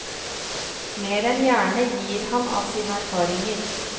Mer enn gjerne gir han av sine erfaringer.